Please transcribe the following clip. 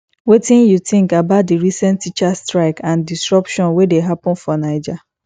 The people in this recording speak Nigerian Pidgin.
wetin you think about di recent teachers strikes and disruption wey dey happen for naija